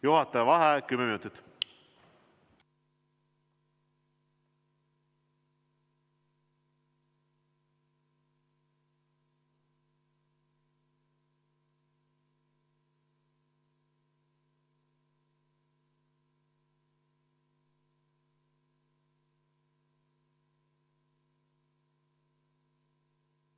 Juhataja vaheaeg 10 minutit.